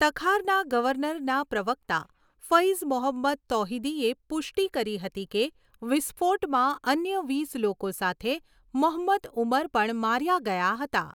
તખારના ગવર્નરના પ્રવક્તા ફૈઝ મોહંમદ તૌહિદીએ પુષ્ટિ કરી હતી કે વિસ્ફોટમાં અન્ય વીસ લોકો સાથે મોહંમદ ઉમર પણ માર્યા ગયા હતા.